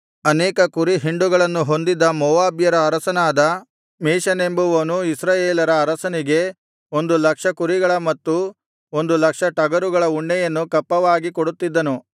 ಅನೇಕ ಕುರಿಹಿಂಡುಗಳನ್ನು ಹೊಂದಿದ್ದ ಮೋವಾಬ್ಯರ ಅರಸನಾದ ಮೇಷನೆಂಬುವನು ಇಸ್ರಾಯೇಲರ ಅರಸನಿಗೆ ಒಂದು ಲಕ್ಷ ಕುರಿಗಳ ಮತ್ತು ಒಂದು ಲಕ್ಷ ಟಗರುಗಳ ಉಣ್ಣೆಯನ್ನು ಕಪ್ಪವಾಗಿ ಕೊಡುತ್ತಿದ್ದನು